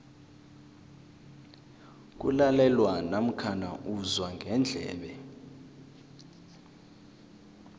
kulalelwa namkha uzwa ngendlebe